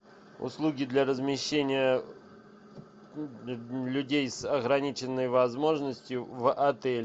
услуги для размещения людей с ограниченной возможностью в отеле